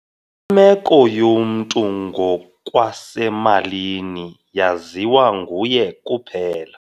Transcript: Imeko yomntu ngokwasemalini yaziwa nguye kuphela.